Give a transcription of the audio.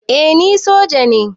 Eh ni soja ne